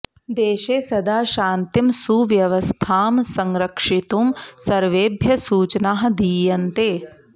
देशे सदा शान्तिं सुव्यवस्थां संरक्षयितुं सर्वेभ्यः सूचनाः दीयन्ते